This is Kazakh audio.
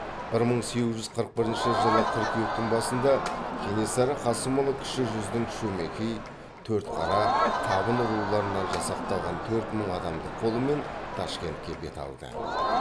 бір мың сегіз жүз қырық бірінші жылы қыркүйектің басында кенесары қасымұлы кіші жүздің шөмекей төртқара табын руларынан жасақталған төрт мың адамдық қолымен ташкентке бет алды